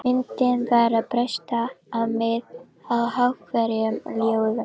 Myndin var að bresta á með háværum hljóðum.